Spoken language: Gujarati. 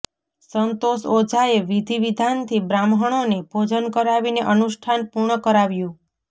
સંતોષ ઓઝાએ વિધિ વિધાનથી બ્રાહ્મણોને ભોજન કરાવીને અનુષ્ઠાન પુર્ણ કરાવ્યુ